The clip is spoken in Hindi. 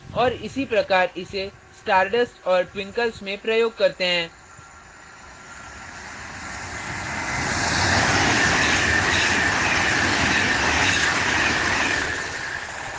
और इसी प्रकार इसे stardust और twinkles में प्रयोग करते हैं